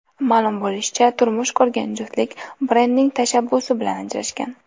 Ma’lum bo‘lishicha, turmush qurgan juftlik Brendning tashabbusi bilan ajrashgan.